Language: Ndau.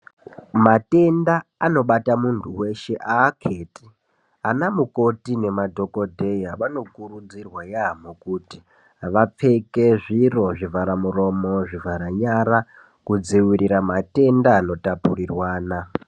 Matenda anobata Muntu weshe akheti anamukoti nemadhokodheya ,vanokurudzirwa yamho kuti vapfeke zviro zvivhara muromo zvivhara nyara kudziwirira matenda anotapurirwana.